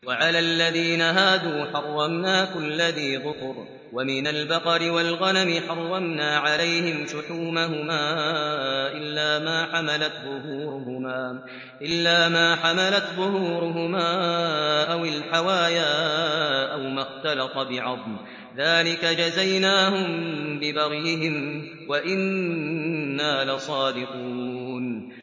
وَعَلَى الَّذِينَ هَادُوا حَرَّمْنَا كُلَّ ذِي ظُفُرٍ ۖ وَمِنَ الْبَقَرِ وَالْغَنَمِ حَرَّمْنَا عَلَيْهِمْ شُحُومَهُمَا إِلَّا مَا حَمَلَتْ ظُهُورُهُمَا أَوِ الْحَوَايَا أَوْ مَا اخْتَلَطَ بِعَظْمٍ ۚ ذَٰلِكَ جَزَيْنَاهُم بِبَغْيِهِمْ ۖ وَإِنَّا لَصَادِقُونَ